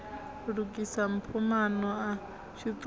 lukisa mpho maano a tshiṱuhu